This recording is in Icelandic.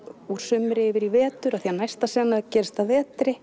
úr sumri yfir í vetur því að næsta sena gerist að vetri